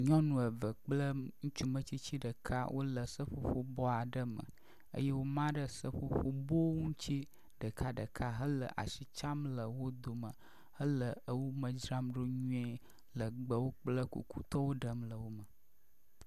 Nyɔnu eve kple ŋutsu metsitsi ɖeka wo le seƒoƒo bɔ aɖe me eye woma ɖe seƒoƒo bowo ŋutsi ɖekaɖeka hele asi tsam le wo dome hele wo ewo me dzram ɖo nyui le gbewo kple kukutɔwo ɖem le me.